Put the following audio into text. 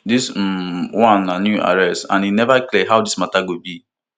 dis um one na new arrest and e neva clear how dis mata go be